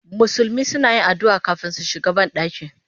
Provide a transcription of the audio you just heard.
Musulmi suna yin addu'a kafin su shiga banɗaki